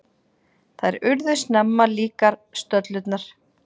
Þær urðu snemma líkar, stöllurnar.